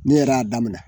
Ne yɛrɛ y'a daminɛ